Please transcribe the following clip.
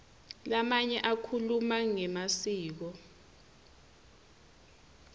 lamanye akhuluma ngemasiko